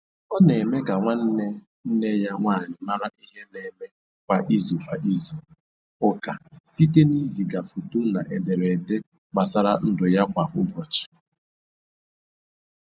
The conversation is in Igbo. Ọ na eme ka nwanne nne ya nwanyị mara ihe na eme kwa izu kwa izu ụka site na iziga foto na edere ede gbasara ndụ ya kwa ụbọchị